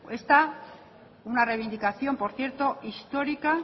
esta una reivindicación por cierto histórica